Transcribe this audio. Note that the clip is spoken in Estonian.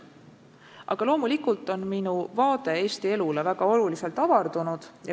Aga loomulikult on minu vaade Eesti elule väga olulisel määral avardunud.